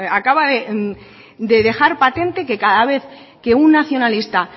acaba de dejar patente que cada vez que un nacionalista